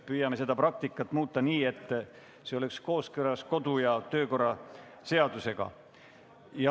Püüame seda praktikat muuta nii, et see oleks kooskõlas kodu- ja töökorra seadusega.